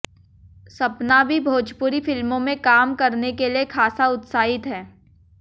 सपना भी भोजपुरी फिल्मों में काम करने के लिए खासा उत्साहित हैं